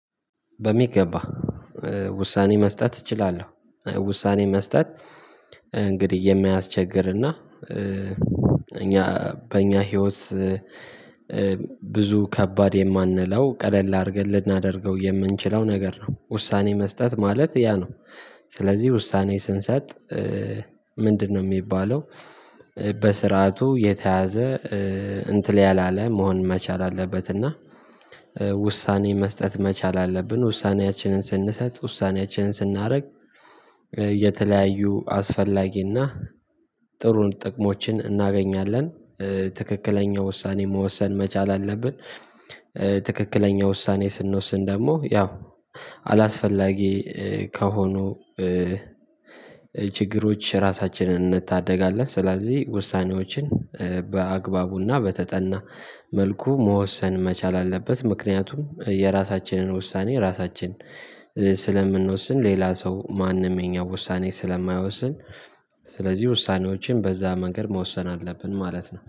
በሚገባ ውሳኔ መስጠት እችላለሁ ውሳኔ መስጠት እንግዲህ የማያስቸግርና እና እኛ በእኛ ህይወት ብዙ ከባድ የማንለው ቀለል አድርገን ልናደርገው የምንችለው ነገር ነው ውሳኔ መስጠት ማለት ያ ነው። ስለዚህ ውሳኔ ስንሰጥ ምንድነው የሚባለው? በስርዓቱ የተያዘ እንትን ያላለ መሆን መቻል አለበት እና ውሳኔ መስጠት መቻል አለብን። ውሳኔያችንን ስንሰጥ ውሳኔያችንን ስናደርግ የተለያዩ አስፈላጊና ጥሩ ጥቅሞችን እናገኛለን ትክክለኛ ውሳኔ መወሰን መቻል አለብን። ትክክለኛ ውሳኔ ስንወስን ደግሞ ያው አላስፈላጊ ከሆኑ ችግሮች ራሳችንን እንታደጋለን። ስለዚህ ውሳኔዎችን በአግባቡና በተጠና መልኩ መወሰን መቻል አለበት። ምክንያቱም የራሳችንን ውሳኔ ራሳችን ስለምንወስን ሌላ ሰው ማንም የኛን ውሳኔ ስለማይወስን። ስለዚህ ውሳኔዎችን በዛ መንገድ መወሰን አለብን ማለት ነው